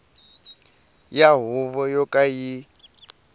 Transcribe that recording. ya huvo yo ka yi